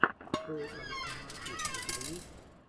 шоу авесэмар кидс у тебя есть